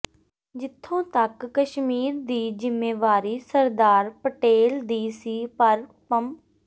ਜਿਥੋਂ ਤਕ ਕਸ਼ਮੀਰ ਦੀ ਜ਼ਿੰਮੇਵਾਰੀ ਸਰਦਾਰ ਪਟੇਲ ਦੀ ਸੀ ਪਰ ਪੰ